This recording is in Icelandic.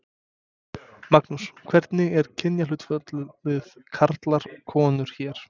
Magnús: Hvernig er kynjahlutfallið karlar konur hér?